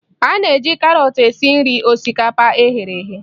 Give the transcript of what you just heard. A na-eji karọt esi nri osikapa e ghere eghe